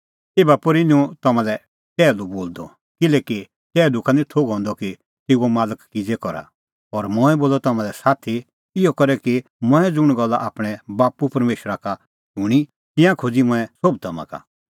एभा पोर्ही निं हुंह तम्हां लै टैहलू बोलदअ किल्हैकि टैहलू का निं थोघ हंदअ कि तेऊओ मालक किज़ै करा पर मंऐं बोलअ तम्हां लै साथी इहअ करै कि मंऐं ज़ुंण गल्ला आपणैं बाप्पू परमेशरा का शूणीं तिंयां खोज़ी मंऐं सोभ तम्हां का